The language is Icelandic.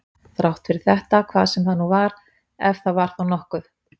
Þrátt fyrir þetta hvað sem það nú var, ef það var þá nokkuð.